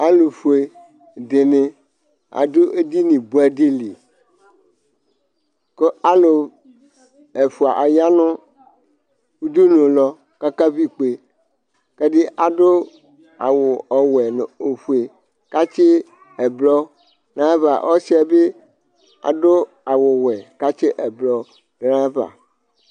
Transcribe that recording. alʊƒʊeɗɩnɩ aɗʊ eɗɩnɩ ɓʊɛɗɩlɩ alʊ ɛƒʊaɗɩnɩ aƴanʊ ʊɗʊnʊwlɔ mɛ atanɩ aƙaʋɩ ɩƙpe ɛɗɩnɩaɗʊ awʊ ɔwɛ ɛɗɩnɩaɗʊ awʊ oƒʊe ƙʊ ʊlɔ aʋaʋlɩ amɔlɔɗʊnʊ aƴɩlɩ